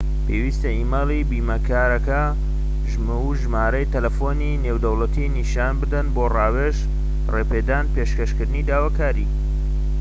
پێویستە ئیمەیلی بیمەکارەکە و ژمارە تەلەفۆنی نێودەوڵەتی نیشان بدەن بۆ ڕاوێژ/ڕێپێدان و پێشکەشکردنی داواکاری